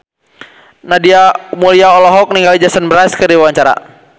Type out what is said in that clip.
Nadia Mulya olohok ningali Jason Mraz keur diwawancara